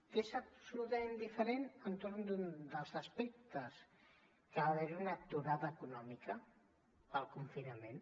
que és absolutament diferent entorn d’un dels aspectes que va haver hi una aturada econòmica pel confinament